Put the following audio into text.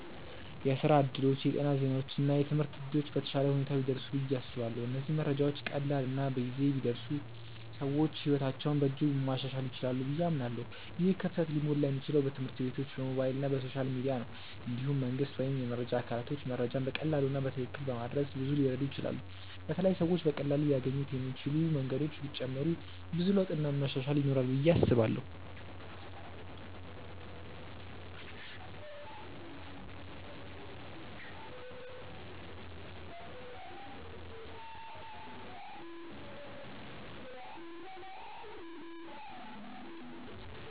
የስራ እድሎች፣ የጤና ዜናዎች እና የትምህርት እድሎች በተሻለ ሁኔታ ቢደርሱ ብዬ አስባለሁ። እነዚህ መረጃዎች ቀላል እና በጊዜ ቢደርሱ ሰዎች ሕይወታቸውን በእጅጉ ማሻሻል ይችላሉ ብዬ አምናለሁ። ይህ ክፍተት ሊሞላ የሚችለው በትምህርት ቤቶች፣ በሞባይል እና በሶሻል ሚዲያ ነው። እንዲሁም መንግስት ወይም የመረጃ አካላቶች መረጃን በቀላሉ እና በትክክል በማድረስ ብዙ ሊረዱ ይችላሉ በተለይ ሰዎች በቀላሉ ሊያገኙት የሚችሉ መንገዶች ቢጨመሩ ብዙ ለውጥ እና መሻሻል ይኖራል ብዬ አስባለው።